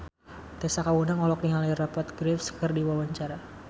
Tessa Kaunang olohok ningali Rupert Graves keur diwawancara